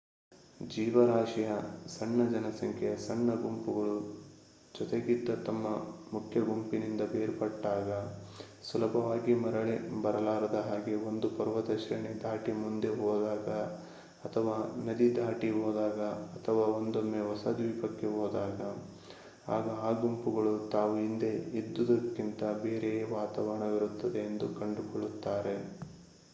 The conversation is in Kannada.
ಜೀವರಾಶಿಯ ಸಣ್ಣ ಜನಸಂಖ್ಯೆಯ ಸಣ್ಣ ಗುಂಪುಗಳು ಜೊತೆಗಿದ್ದ ತಮ್ಮ ಮುಖ್ಯ ಗುಂಪಿನಿಂದ ಬೇರ್ಪಟ್ಟಾಗ ಸುಲಭವಾಗಿ ಮರಳಿ ಬರಲಾರದ ಹಾಗೆ ಒಂದು ಪರ್ವತ ಶ್ರೇಣಿ ದಾಟಿ ಮುಂದೆ ಹೋದಾಗ ಅಥವಾ ನದಿ ದಾಟಿ ಹೋದಾಗ ಅಥವಾ ಒಂದೊಮ್ಮೆ ಹೊಸ ದ್ವೀಪಕ್ಕೆ ಹೋದಾಗ ಆಗ ಆ ಗುಂಪುಗಳು ತಾವು ಹಿಂದೆ ಇದ್ದದ್ದಕ್ಕಿಂತಲೂ ಬೇರೆಯೇ ವಾತಾವರಣವಿರುತ್ತದೆ ಎಂದು ಕಂಡುಕೊಳ್ಳುತ್ತಾರೆ